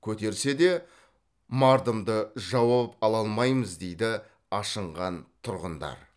көтерсе де мардымды жауап ала алмаймыз дейді ашынған тұрғындар